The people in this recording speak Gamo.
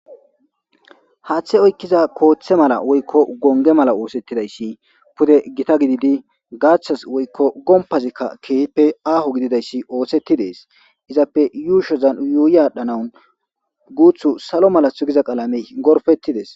haaththe oykkiza kooththe mala woykko gonge mala oosettidayssi pude gita gididi gaaththas woykko gompazikka keepe aaho gididayssi oosetti dees izappe yuushozan yuuyi aadhdhanawun guuthu salo malathu giza qalame gorfettides